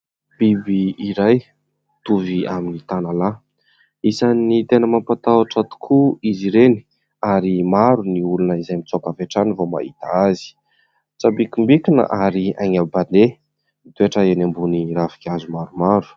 Biby iray mtovy amin'ny tanalahy, isany tena mampatahotra tokoa izy ireny ary maro ny olona izay mitsoaka avy hatrany vao mahita azy, mitsambikimbikina ary haingam-pandeha, mitoetra eny ambony ravin-kazo maromaro.